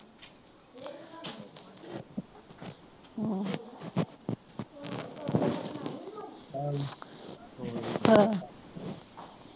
ਹਾਂਜੀ ਹਾਂ